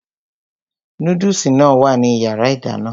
Núdùsì náà wà ní yàrá ìdáná